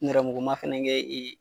Nɛrɛmuguma fɛnɛ kɛ